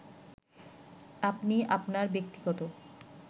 আপনি আপনার ব্যক্তিগত